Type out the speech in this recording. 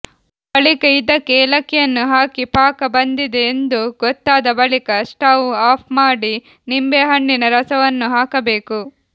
ಬಳಿಕ ಇದಕ್ಕೆ ಏಲಕ್ಕಿಯನ್ನು ಹಾಕಿ ಪಾಕ ಬಂದಿದೆ ಎಂದು ಗೊತ್ತಾದ ಬಳಿಕ ಸ್ಟೌವ್ ಆಫ್ ಮಾಡಿ ನಿಂಬೆಹಣ್ಣಿನ ರಸವನ್ನು ಹಾಕಬೇಕು